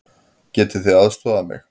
Getið þið aðstoðað mig?